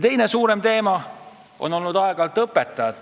Teine suurem teema on olnud õpetajate palk.